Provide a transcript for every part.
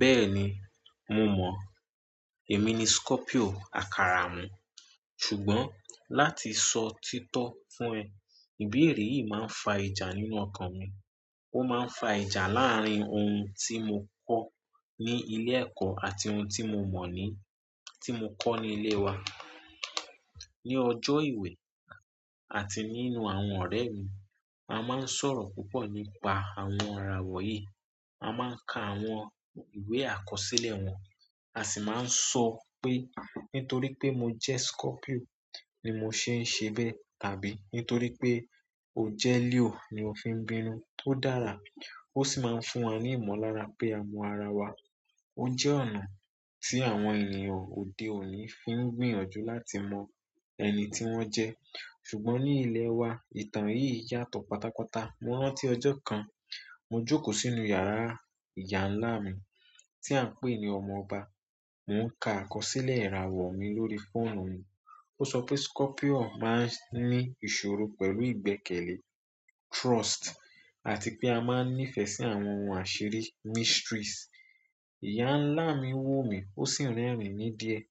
Bẹ́ẹ̀ni, mo mọ̀. Èmi ni Scorpio àkàràhun. Ṣùgbọ́n láti sọ títọ́ fún ẹ, ìbéèrè yìí máa ń fa ìjà nínú ọkàn mi. Ó máa ń fa ìjà láàárín ohun tí mo kọ́ ní ilé ẹ̀kọ́ àti ohun tí mo mọ̀ ní, tí mo kọ́ ní ilé wa. Ni ọjọ́ ìwé àti nínú àwọn ọ̀rẹ́ mi, a máa ń sọ̀rọ̀ púpọ̀ nípa àwọn ìràwọ̀ yí. A máa ń ka àwọn ìwé àkọsílẹ̀ wọn, a sì máa ń sọ pé nítorí pé mo jẹ́ Scorpio ni mo ṣe ń ṣe bẹ́ẹ̀ tàbí nítorí pé o jẹ́ Leo ni o fi ń bínú. Ó dára, ó sì máa ń fún wa ní ìmọ̀lára pé a mọ ara wa. Ó jẹ́ ọ̀nà tí àwọn ènìyàn òde òní fi ń gbìyànjú láti mọ ẹni tí wọ́n jẹ́. Ṣùgbọ́n ní ilẹ̀ wa, ìtàn yìí yàtọ̀ pátápátá. Mo rántí ọjọ́ kan, mo jókòó sínú yàrá ìyá ńlá mi tí à ń pè ní ọmọ ọba. Mo ń ka àkọsílẹ̀ ìràwọ̀ mi lórí fóònù mi. Ó sọ pé Scorpio máa ń ní ìṣòro pẹ̀lú ìgbẹ́kẹ̀lé, trust àti pé a máa ń nífẹ̀ẹ́ sí àwọn ohun àṣírí, mysteries. Ìyá ńlá mi wò mí, ó sì rẹ́rìn-ín díẹ̀.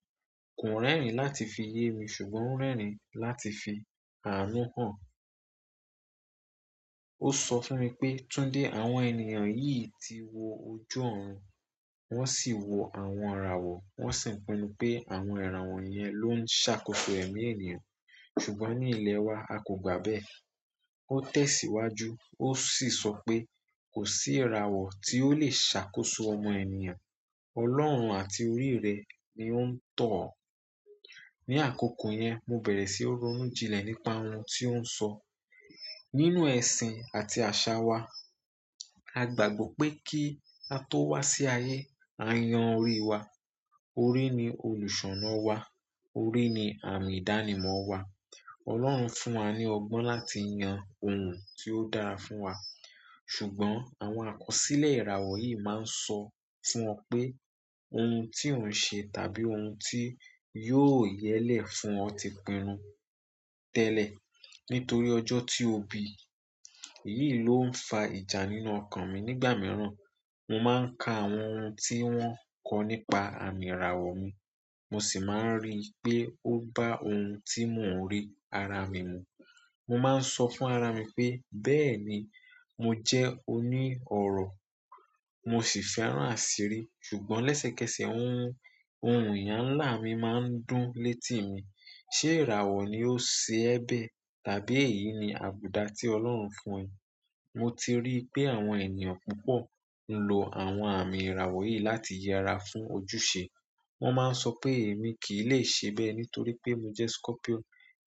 Kò rẹ́rìn láti fi ye mi ṣùgbọ́n ó rẹ́rìn láti fi àánú hàn. Ó sọ fún mi pé "Tunde, àwọn ènìyàn yìí ti wo ojú ọ̀un. Wọ́n sì wo àwọn ìràwọ̀. Wọ́n sì pinnu pé àwọn ìràwọ̀ yẹn ló ń ṣàkóso ẹ̀mí ènìyàn. Ṣùgbọ́n ní ilẹ̀ wa, a kò gbà bẹ́ẹ̀." Ó tẹ̀síwájú, ó sì sọ pé "kò sí ìràwọ̀ tí ó lè ṣàkóso ọmọ ènìyàn. Ọlọ́run àti orí rẹ ni ó ń tọ̀ ọ́." Ni akoko yen mo bere si nronu jinle nípa oun ti o nso. Nínú ẹ̀sìn àti àṣà wa, a gbàgbọ́ pé kí a tó wá sí ayé, a yan orí wa. Orí ni olùṣọ́nà wa, orí ni àmì ìdánimọ̀ wa. Ọlọ́run fún wa ní ọgbọ́n láti yan ohun tí ó dára fún wa. Ṣùgbọ́n àwọn àkọsílẹ̀ ìràwọ̀ yìí máa ń sọ fún o pé ohun tí o n ṣe tàbí ohun tí yóò yẹ́lẹ̀ fún o ti pinnu tẹ́lẹ̀ nítorí ọjọ́ tí ó bi. Èyí ló ń fa ìjà nínú ọkàn mi nígbà mìíràn. Mo máa ń ka àwọn ohun tí wọ́n kọ́ nípa àmì ìràwọ̀ mi, mo sì máa ń rí i pé ó bá ohun tí mò ń rí ara mi mu. Mo máa ń sọ fún ara mi pé "bẹ́ẹ̀ni, mo jẹ́ oní ọ̀rọ̀, mo si fẹ́ràn asiri, ṣùgbọ́n lesekese ohun ohun eyan larin nma ndun leti mi, se ìràwọ̀ ni ose e be tàbí èyí ni abuda ti ọlọ́run fún e? Mo ti ríi pe àwọn eyan púpọ̀ nlo àwọn àmì ìràwọ̀ yi láti yera fu ojúṣe. Wọ́n máa ń sọ pé èmi kì í lè ṣe bẹ́ẹ̀ nítorí pé mo jẹ́ Scorpio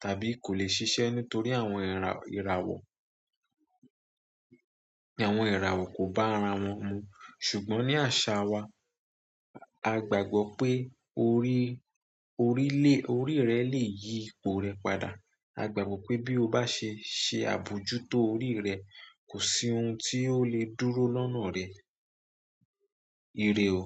tàbí kò lè ṣiṣẹ́ nítorí àwọn ìràwọ̀, àwọn ìràwọ̀ kò bá ara wọn mu. Ṣùgbọ́n ní àṣà wa, a gbàgbọ́ pé orí, orí lè, orí rẹ lè yí ipò rẹ padà. A gbàgbọ́ pé bí o bá ṣe ṣe àbójútó orí rẹ, kò sí ohun tí ó lè dúró lọ́nà rẹ̀. Ire o.